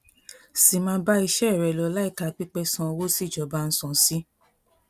sì máa bá iṣẹ rẹ lọ láìka pipe san owó tí ìjọba ń san sí